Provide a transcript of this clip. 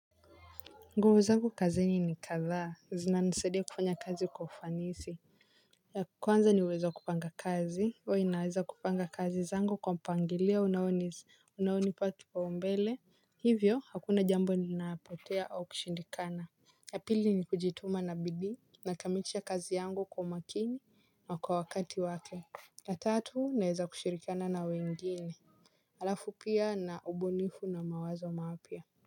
Nguvu zangu kazini ni kadhaa zina nisadia kufanya kazi kwa ufanisi. Ya kwanza ni uwezo wa kupanga kazi hua naweza kupanga kazi zangu kwa mpangilio unaonipa kipau mbele hivyo hakuna jambo linalopotea au kushindikana ya pili ni kujituma na bidii nakamilisha kazi yangu kwa makini na kwa wakati wake. La tatu naweza kushirikiana na wengine halafu pia na ubunifu na mawazo mapya.